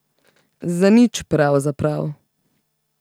Za nič pravzaprav.